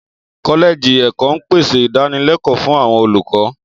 Kọ́lẹ́ẹ̀jì ẹ̀kọ́ ń pèsè ìdánilẹ́kọ̀ọ́ fún àwọn olùkọ́